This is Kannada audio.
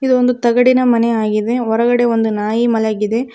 ಇದು ಒಂದು ತಗಡಿನ ಮನೆ ಆಗಿದೆ ಹೊರಗಡೆ ಒಂದು ನಾಯಿ ಮಲಗಿದೆ.